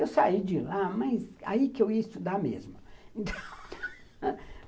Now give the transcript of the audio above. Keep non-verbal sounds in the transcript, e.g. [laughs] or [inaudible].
Eu saí de lá, mas aí que eu ia estudar mesmo [laughs]